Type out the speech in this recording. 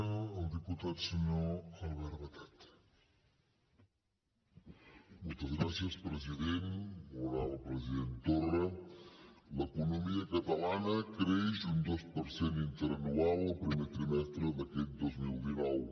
molt honorable president torra l’economia catalana creix un dos per cent interanual el primer trimestre d’aquest dos mil dinou